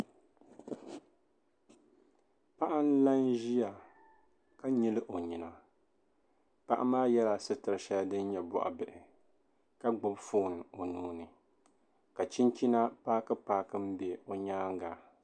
paɣa n-la n-ʒia ka nyili o nyina paɣa maa yɛla sitir' shɛli din nyɛ bɔɣibihi ka gbubi foon o nuu ni ka chinchina paakipaaki m-be o nyaaŋga